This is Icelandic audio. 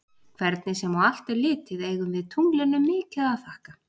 Hvernig sem á allt er litið eigum við tunglinu mikið að þakka.